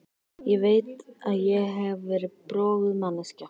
Ég veit að ég hef verið broguð manneskja.